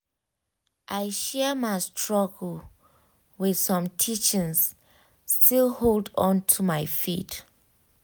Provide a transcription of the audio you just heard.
i share my struggle with um some teachings still um hold on to my faith